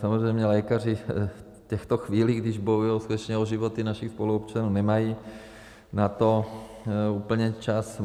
Samozřejmě lékaři v těchto chvílích, když bojují skutečně o životy našich spoluobčanů, nemají na to úplně čas.